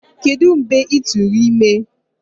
Kedu mgbe ị tụrụ ime?